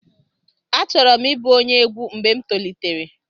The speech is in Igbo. Achọrọ m ịbụ onye egwu mgbe m tolitere.